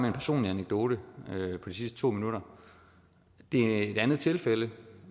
en personlig anekdote i de sidste to minutter det er et andet tilfælde